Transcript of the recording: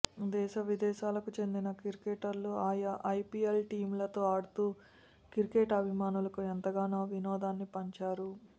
దేశ విదేశాలకు చెందిన క్రికెటర్లు ఆయా ఐపీఎల్ టీంలలో ఆడుతూ క్రికెట్ అభిమానులకు ఎంతగానో వినోదాన్ని పంచారు